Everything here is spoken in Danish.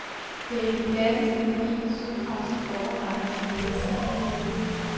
Det er de klassiske, gedigne, sydfranske borgerretter, som lægger stilen i køkkenet.